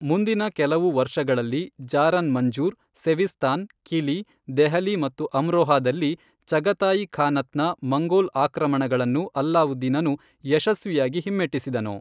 ಮುಂದಿನ ಕೆಲವು ವರ್ಷಗಳಲ್ಲಿ, ಜಾರನ್ ಮಂಜೂರ್, ಸೆವಿಸ್ತಾನ್, ಕಿಲಿ, ದೆಹಲಿ ಮತ್ತು ಅಮ್ರೋಹಾದಲ್ಲಿ ಚಗತಾಯಿ ಖಾನತ್ನ ಮಂಗೋಲ್ ಆಕ್ರಮಣಗಳನ್ನು ಅಲ್ಲಾವುದ್ದೀನನು ಯಶಸ್ವಿಯಾಗಿ ಹಿಮ್ಮೆಟ್ಟಿಸಿದನು.